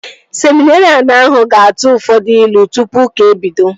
Seminerịan ahụ ga-atụ ụfọdụ ilu tụpụ ụka ebido